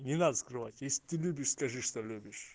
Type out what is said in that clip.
не надо скрывать если ты любишь скажи что любишь